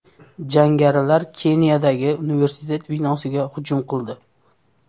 Jangarilar Keniyadagi universitet binosiga hujum qildi.